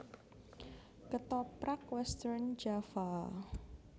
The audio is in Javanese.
Ketoprak Western Java